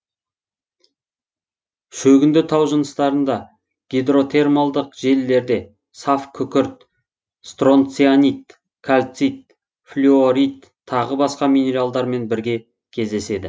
шөгінді тау жыныстарында гидротермалдық желілерде саф күкірт стронцианит кальцит флюорит тағы басқа минералдармен бірге кездеседі